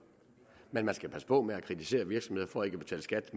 men man skal passe på med at kritisere virksomheder for ikke at betale skat